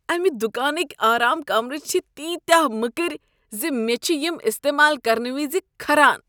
امہ دکانٕکۍ آرام كمرٕ چھ تیٖتیٛاہ مٔکٕرۍ ز مےٚ چھ یم استعمال کرنہٕ وِزِ كھران۔